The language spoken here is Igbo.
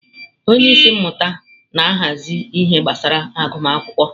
Onye isi mmụta na-ahazi ihe gbasara agụmakwụkwọ.